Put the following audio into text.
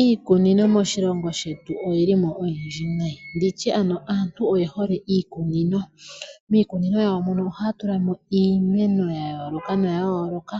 Iikunino moshilongo shetu oyilimo oyindji nayi, nditye ano aantu oye hole iikunino. Miikunino yawo mono ohaya tulamo iimeno ya yooloka noya yooloka,